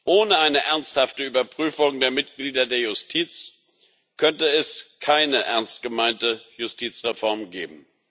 Ohne eine ernsthafte Überprüfung der Mitglieder der Justiz könnte es keine ernstgemeinte Justizreform geben.